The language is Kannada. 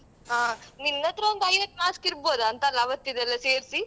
ಹಾ ನಿನ್ನತ್ರ ಒಂದ್ ಐವತ್ mask ಇರ್ಬೋದಾಂತ ಅಲ್ಲ ಆವತ್ತಿದೆಲ್ಲ ಸೇರ್ಸಿ.